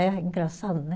É engraçado, né?